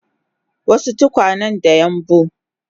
wasu tukwanen da yambu